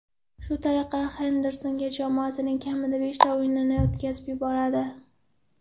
Shu tariqa Henderson jamoasining kamida beshta o‘yinini o‘tkazib yuboradi.